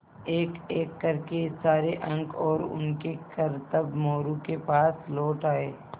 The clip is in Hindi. एकएक कर के सारे अंक और उनके करतब मोरू के पास लौट आये